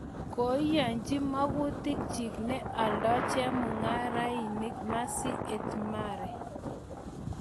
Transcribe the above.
Kaiyanji magutikchig ne alda chegigararanegee Mercy Ehimare